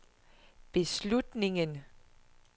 beslutningen